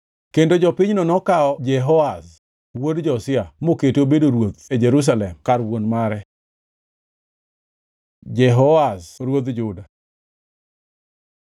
Kendo jopinyno nokawo Jehoahaz wuod Josia mokete obedo ruoth e Jerusalem kar wuon mare. Jehoahaz ruodh Juda